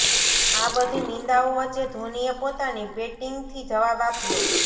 આ બધી નિંદાઓ વચ્ચે ધોનીએ પોતાની બેટિંગથી જવાબ આપ્યો